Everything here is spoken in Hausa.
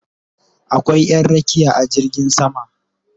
Akwai Ƴan rakiya a jirgin sama